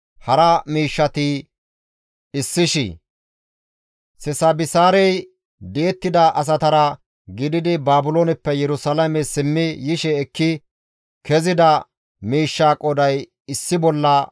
Sesabisaarey di7ettida asatara gididi Baabilooneppe Yerusalaame simmi yishe ekki kezida miishsha qooday issi bolla 5,440.